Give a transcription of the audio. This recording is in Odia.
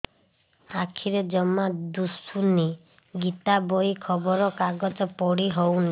ଆଖିରେ ଜମା ଦୁଶୁନି ଗୀତା ବହି ଖବର କାଗଜ ପଢି ହଉନି